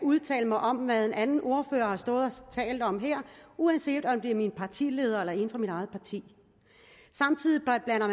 udtale mig om hvad en anden ordfører har stået og talt om her uanset om det er min partileder eller en fra mit eget parti